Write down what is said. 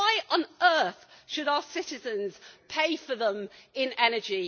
Why on earth should our citizens pay for them in energy?